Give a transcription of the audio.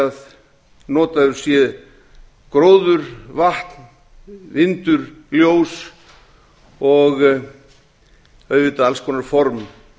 að notaður sé gróður vatn vindur ljós og auðvitað alls konar form